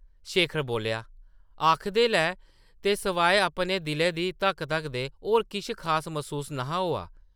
शेखर बोल्लेआ, ‘‘आखदे’लै ते सवाए अपने दिलै दी धक्क-धक्क दे होर किश खास मसूस न’हा होआ ।’’